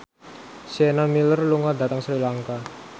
Sienna Miller lunga dhateng Sri Lanka